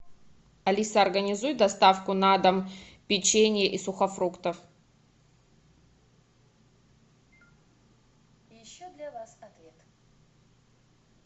алиса организуй доставку на дом печенья и сухофруктов